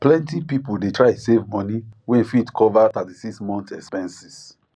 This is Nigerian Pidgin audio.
plenty people dey try save money wey fit cover 36 months expenses